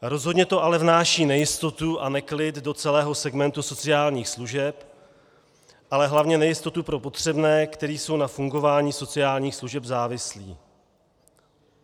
Rozhodně to ale vnáší nejistotu a neklid do celého segmentu sociálních služeb, ale hlavně nejistotu pro potřebné, kteří jsou na fungování sociálních služeb závislí.